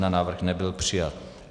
Návrh nebyl přijat.